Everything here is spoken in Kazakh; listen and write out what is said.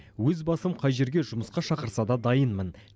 өз басым қай жерге жұмысқа шақырса да дайынмын